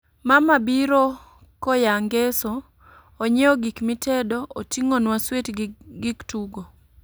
Mama biro koya ngeso, onyiew gik mitedo, oting'onwa swit gi gik tugo